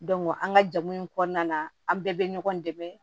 an ka jago in kɔnɔna na an bɛɛ bɛ ɲɔgɔn dɛmɛ